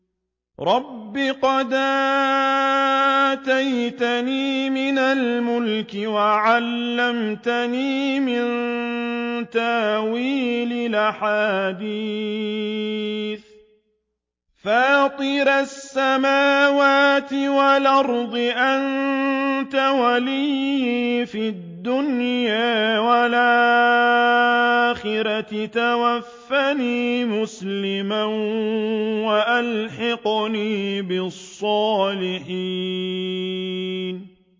۞ رَبِّ قَدْ آتَيْتَنِي مِنَ الْمُلْكِ وَعَلَّمْتَنِي مِن تَأْوِيلِ الْأَحَادِيثِ ۚ فَاطِرَ السَّمَاوَاتِ وَالْأَرْضِ أَنتَ وَلِيِّي فِي الدُّنْيَا وَالْآخِرَةِ ۖ تَوَفَّنِي مُسْلِمًا وَأَلْحِقْنِي بِالصَّالِحِينَ